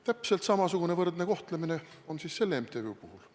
Täpselt samasugune võrdne kohtlemine on siis selle MTÜ puhul.